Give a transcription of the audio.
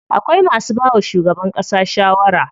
Akwai masu bawa shugaban ƙasa shawara.